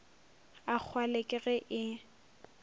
a kgwale ke ge e